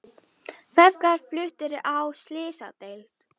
Feðgar fluttir á slysadeild